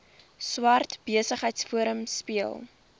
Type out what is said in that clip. swart besigheidsforum speel